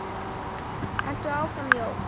Haltu áfram Jón!